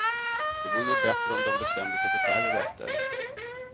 Det vore nog bättre om de bestämde sig för färre rätter.